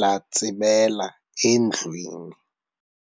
latsibela endlwini.